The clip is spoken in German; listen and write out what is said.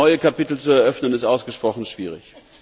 Neue Kapitel zu eröffnen ist ausgesprochen schwierig.